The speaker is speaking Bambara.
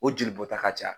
O jeli bɔ ta ka ca